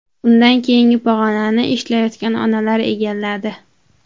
Undan keyingi pog‘onani ishlayotgan onalar egalladi.